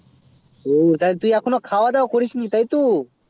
ওটাই তো তুই এখনো খাবা দাবা করিস নি তাই তো